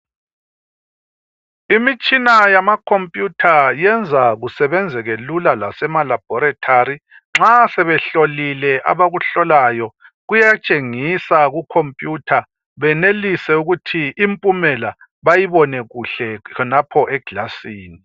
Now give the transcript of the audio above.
Imitshina yama khomputha yenza kusebenzeke lula lasemalabhorethari. Nxa sebehlolile abakuhlolayo kuyatshengisa kukhomputha benelise ukuthi impumela bayibone kuhle khonapho eglasini.